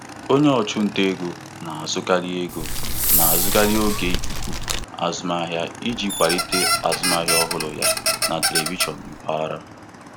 Onye ọchụnta ego na-azụkarị ego na-azụkarị oge ikuku azụmahịa iji kwalite azụmahịa ọhụrụ ya na telivishọn mpaghara